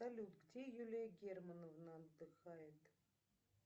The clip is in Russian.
салют где юлия германовна отдыхает